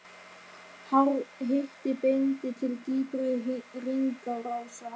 Hár hiti bendir til dýpri hringrásar.